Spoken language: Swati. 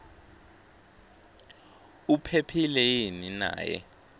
uphephile yini naye